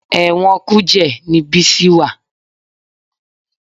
Ẹ̀wọ̀n Kùjẹ́ ni Bísí wà